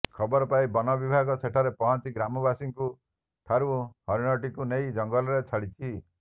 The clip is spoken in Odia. ଖବର ପାଇ ବନବିଭାଗ ସେଠାରେ ପହଞ୍ଚି ଗ୍ରାମବାସୀଙ୍କୁ ଠାରୁ ହରିଣଟିକୁ ନେଇ ଜଙ୍ଗଲରେ ଛାଡ଼ିଛି